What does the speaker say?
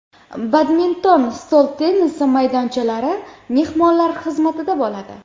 Badminton, stol tennisi maydonchalari mehmonlar xizmatida bo‘ladi.